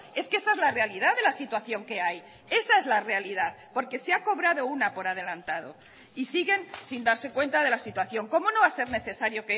es que esa es la realidad de la situación que hay esa es la realidad porque se ha cobrado una por adelantado y siguen sin darse cuenta de la situación cómo no va a ser necesario